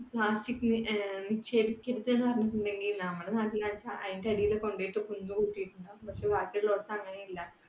plastic നെ നിക്ഷേപിക്കരുത് എന്ന് പറഞ്ഞിട്ടുണ്ടെങ്കിൽ നമ്മുടെ നാട്ടില്ലാച്ചാൽ അതിന്റെ അടിയിൽ കൊണ്ടുപോയിട്ട് കുന്നുകൂട്ടിയിട്ടിട്ടുണ്ടാവും. പക്ഷെ ബാക്കിയുള്ളോടത്ത് അങ്ങനെയല്ല.